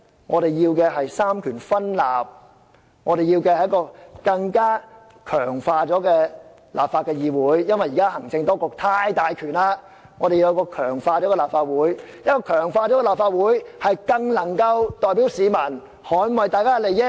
我們要求"三權分立"，因為現時行政機關的權力太大，我們要求一個經強化的立法會，才更能夠代表市民捍衞他們的利益。